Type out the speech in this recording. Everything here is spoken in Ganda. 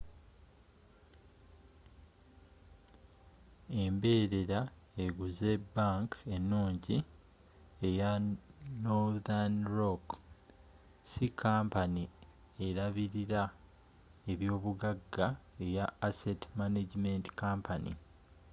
emberera eguze bank enungi eya northern rock si kampani erabirila ebyobugaga eya asset management company